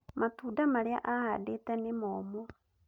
Mtunda marĩa ahandite nĩ momũ